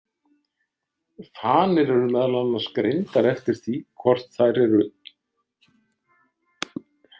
Fanir eru meðal annars greindar eftir því hvort þær eru.